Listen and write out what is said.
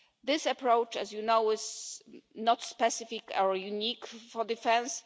This approach, as you know, is not specific or unique to defence.